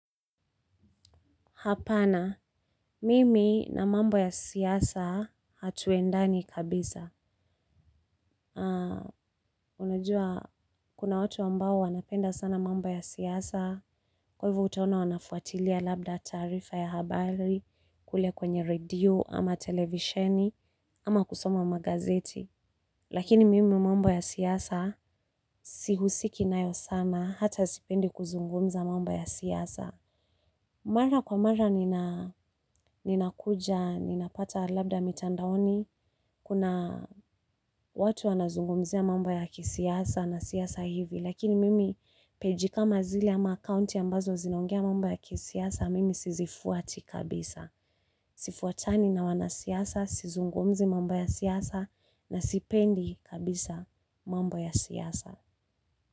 Hapana, mimi na mambo ya siasa hatuendani kabisa. Unajua, kuna watu ambao wanapenda sana mambo ya siasa, kwa hivyo utaona wanafuatilia labda taarifa ya habari, kule kwenye radio, ama televisheni, ama kusoma magazeti. Lakini mimi mambo ya siasa, sihusiki nayo sana, hata sipendi kuzungumza mambo ya siasa. Mara kwa mara ninakuja, ninapata labda mitandaoni, kuna watu wanazungumzia mambo ya kisiasa na siasa hivi, lakini mimi page kama zile ama akaunti ambazo zinongea mambo ya kisiasa, mimi sizifuati kabisa. Sifuatani na wanasiasa, sizungumzi mambo ya siasa na sipendi kabisa mambo ya siasa.